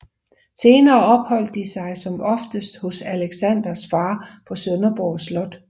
Senere opholdt de sig som oftest hos Alexanders fader på Sønderborg Slot